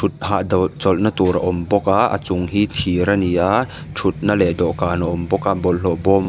thutphah chawlhna tur a awm bawk a a chung hi thir a ni a thutna leh dawhkan a awm bawk a bawlhhlawhbawm.